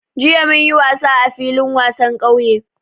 Jiya mun yi wasa a filin wasan ƙauye